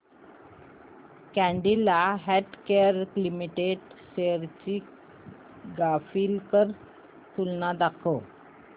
Cadila Healthcare Limited shares ची graphical तुलना दाखव